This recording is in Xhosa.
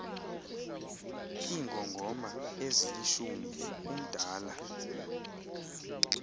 iingongoma ezilishumi umdala